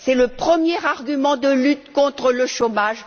C'est notre premier instrument de lutte contre le chômage.